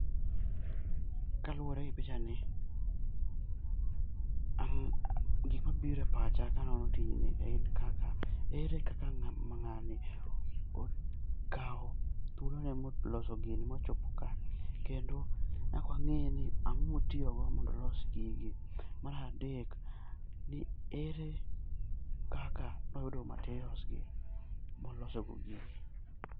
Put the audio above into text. Kaluore gi pichani ,gimabiiro e pacha ka anono tijni en kaka ere kaka ng'ani okao thuolone moloso gini mochopo kae kendo nyaka wang'e ni ango motiyo go nyaka olos gigi. Mar adek ,ere kaka noyudo materials gi moloso go gigi